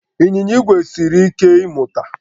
Ịnyịnya igwe siri ike ịmụta